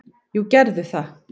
"""Jú, gerðu það!"""